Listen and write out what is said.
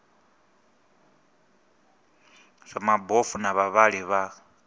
zwa mabofu na vhavhali vha